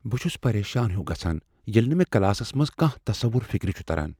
بہٕ چھس پریشان ہیُو گژھان ییٚلہ نہٕ مےٚ کلاسس منٛز کانٛہہ تصور فکر چھ تران۔